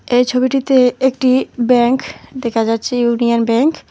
এই ছবিটিতে একটি ব্যাংক দেখা যাচ্ছে ইউনিয়ন ব্যাংক ।